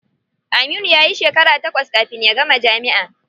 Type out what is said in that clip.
Aminu yayi shekara takwas kafin ya gama jami'a.